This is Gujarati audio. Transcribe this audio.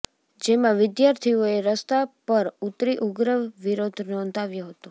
જેમાં વિદ્યાર્થીઓએ રસ્તા પર ઉતરી ઉગ્ર વિરોધ નોંધાવ્યો હતો